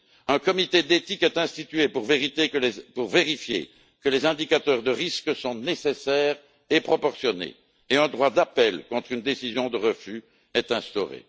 Un comité d'éthique est institué pour vérifier que les indicateurs de risque sont nécessaires et proportionnés et un droit d'appel contre une décision de refus est instauré.